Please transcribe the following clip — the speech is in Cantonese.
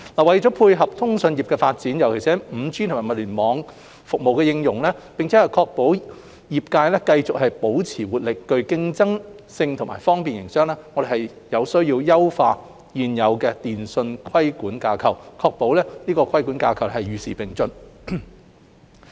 為配合通訊業的發展，尤其是 5G 和物聯網服務的應用，並確保業界繼續保持活力、具競爭性及方便營商，我們有需要優化現有電訊規管架構，確保規管架構與時並進。